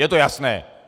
Je to jasné!